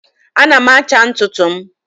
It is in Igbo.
ana m acha ntutu m